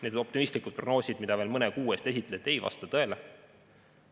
Need optimistlikud prognoosid, mida veel mõne kuu eest esitleti, ei vasta tõele.